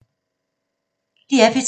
DR P3